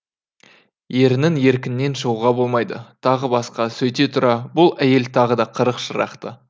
ерінің еркінен шығуға болмайды тағы басқа сөйте тұра бұл әйел тағы да қырық шырақты